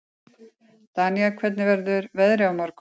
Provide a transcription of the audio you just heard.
Danía, hvernig verður veðrið á morgun?